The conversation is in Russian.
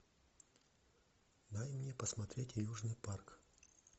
дай мне посмотреть южный парк